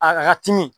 A ka timi